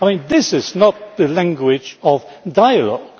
with? This is not the language of dialogue.